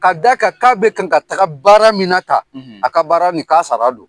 Ka d'a kan k'a bɛ kan ka taga baara minna tan , k'a sara don.